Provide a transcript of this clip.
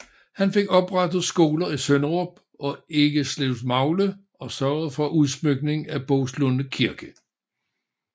Han fik oprettet skoler i Sønderup og Eggeslevmagle og sørgede for udsmykning af Boeslunde Kirke